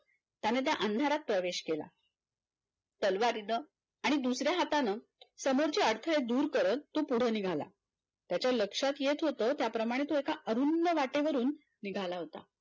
त्याने त्या अंधारात प्रवेश केला तलवारीना आणि दुसऱ्या हातान समोरच्या अळथडे दूर करत तो पुढे निघाला त्याच्या लक्षात येत होतं त्याप्रमाणे असा अरुंद वाटेवरून निघाला होता.